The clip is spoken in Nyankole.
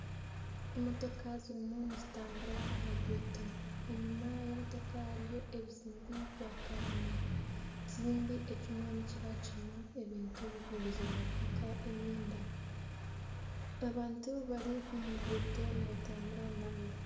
Emotoka zirimu nizitambura aha ruguuto. Enyima y'emotoka hariyo ebizimbe bya kanyina. Ekizimbe ekimwe nikiba kirimu ebintu bikuguzibwa nk'emyenda. Abantu bari omu ruguuto nibatambura nabo.